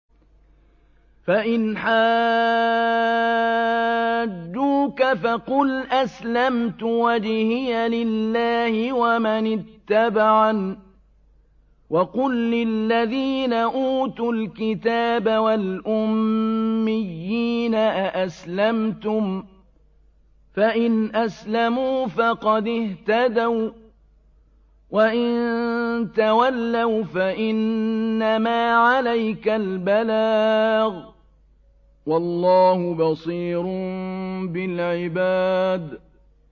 فَإِنْ حَاجُّوكَ فَقُلْ أَسْلَمْتُ وَجْهِيَ لِلَّهِ وَمَنِ اتَّبَعَنِ ۗ وَقُل لِّلَّذِينَ أُوتُوا الْكِتَابَ وَالْأُمِّيِّينَ أَأَسْلَمْتُمْ ۚ فَإِنْ أَسْلَمُوا فَقَدِ اهْتَدَوا ۖ وَّإِن تَوَلَّوْا فَإِنَّمَا عَلَيْكَ الْبَلَاغُ ۗ وَاللَّهُ بَصِيرٌ بِالْعِبَادِ